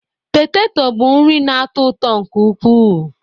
Poteto bụ nri na-atọ ụtọ nke ukwuu